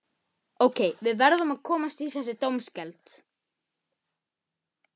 Ég gefst upp.